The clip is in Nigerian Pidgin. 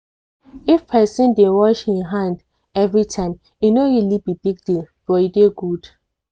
if person dey wash him hand everyntime e no really be big deal but e dey good.